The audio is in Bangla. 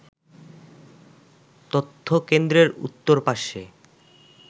তথ্যকেন্দ্রের উত্তর পার্শ্বে